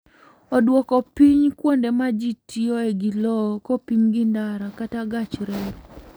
Oduoko piny kuonde ma ji tiyoe gi lowo kopim gi ndara kata gach reru.